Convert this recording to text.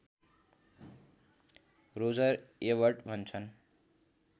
Roger Ebert भन्छन्